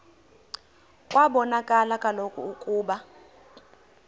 kwabonakala kaloku ukuba